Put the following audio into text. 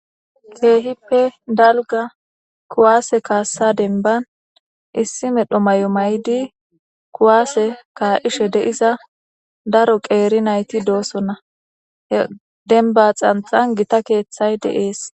Kehippe dalga kuwase kasa dembani issi medho mayo mayidi kuwase ka'ishe de'iza daro qeeri nayti dosona, he demba xanxani Gita keethayi de'esi.